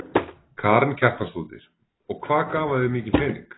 Karen Kjartansdóttir: Og hvað gaf hann þér mikinn pening?